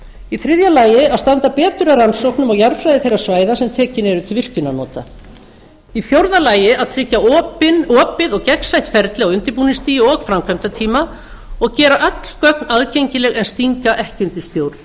í þriðja lagi að standa betur að rannsóknum á jarðfræði þeirra svæða sem tekin eru til virkjunarnota í fjórða lagi að tryggja opið og gegnsætt ferli á undirbúningsstigi og framkvæmdatíma og gera öll gögn aðgengileg en stinga ekki undir